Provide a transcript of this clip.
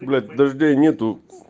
блять дождей нет